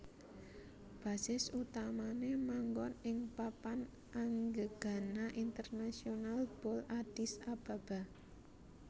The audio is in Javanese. Basis utamané manggon ing Papan Anggegana Internasional Bole Addis Ababa